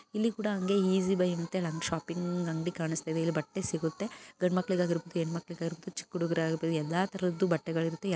ಇಲ್ಲಿ ಕೂಡ ಅಂಗೆ ಈಸಿ ಬೈ ಶಾಪಿಂಗ್ ಅಂಗಡಿ ಕಾಣಿಸ್ತಾ ಇದೆ ಇಲ್ಲಿ ಬಟ್ಟೆ ಸಿಗುತ್ತೆ ಗಂಡ ಮಕ್ಕಳಿಗಾಗಿರಬಹುದು ಹೆಣ್ಣ್ ಮಕ್ಕಾಳಿಗಾಗಿರಬಹುದು ಚಿಕ್ಕ್ ಹುಡುಗುರು ಆಗಿರಬಹುದು ಎಲ್ಲಾ ತರದ್ದು ಬಟ್ಟೆಗಳು ಇರುತ್ತೆ.